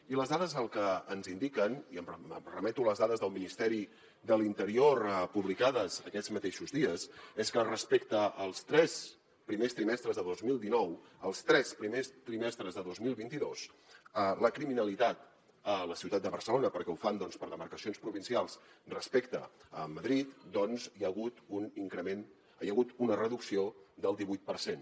i les dades el que ens indiquen i em remeto a les dades del ministeri de l’interior publicades aquests mateixos dies és que respecte als tres primers trimestres de dos mil dinou els tres primers trimestres de dos mil vint dos en la criminalitat a la ciutat de barcelona perquè ho fan per demarcacions provincials respecte a madrid doncs hi ha hagut una reducció del divuit per cent